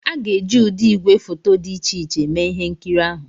A ga-eji ụdị igwefoto dị iche iche mee ihe nkiri ahụ